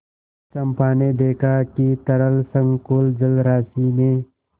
चंपा ने देखा कि तरल संकुल जलराशि में